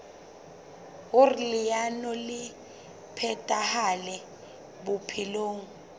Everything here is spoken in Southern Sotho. hoer leano le phethahale bophelong